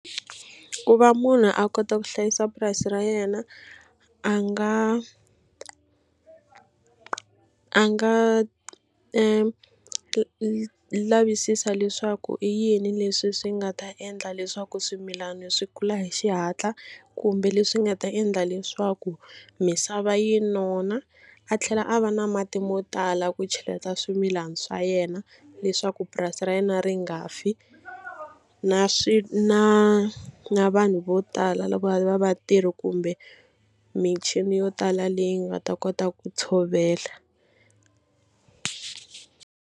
Ku va munhu a kota ku hlayisa purasi ra yena a nga a nga lavisisa leswaku i yini leswi swi nga ta endla leswaku swimilana swi kula hi xihatla kumbe leswi nga ta endla leswaku misava yi nona. A tlhela a va na mati mo tala ku cheleta swimilana swa yena leswaku purasi ra yena ri nga fi na na na vanhu vo tala lava va vatirhi kumbe michini yo tala leyi nga ta kota ku tshovela.